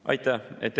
Aitäh!